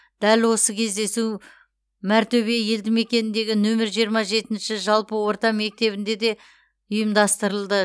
дәл осы кездесу мәртөбе елді мекеніндегі нөмірі жиырма жетінші жалпы орта мектебінде де ұйымдастырылды